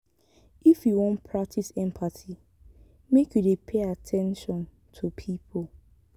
if you wan practice empathy make you dey pay at ten tion to pipo.